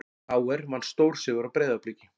KR vann stórsigur á Breiðabliki